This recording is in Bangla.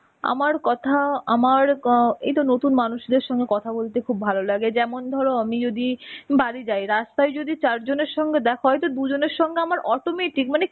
আমার কথা, আমার ক এইতো নতুন মানুষদের সঙ্গে কথা বলতে খুব ভালো লাগে. যেমন ধরো আমি যদি বাড়ি যাই, রাস্তায় যদি চারজনের সঙ্গে দেখা হয় তো দুজনের সঙ্গে আমার automatic মানে